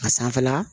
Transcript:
A sanfɛla